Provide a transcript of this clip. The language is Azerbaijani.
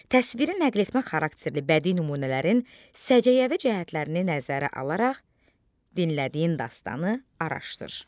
Təsiri nəqletmə xarakterli bədi nümunələrin səciyyəvi cəhətlərini nəzərə alaraq dinlədiyin dastanı araşdır.